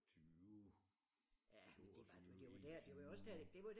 20 22 21